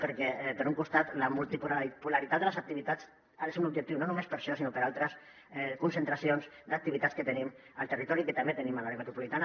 perquè per un costat la multipolaritat de les activitats ha de ser un dels objectius no només per a això sinó per a altres concentracions d’activitats que tenim al territori i que també tenim a l’àrea metropolitana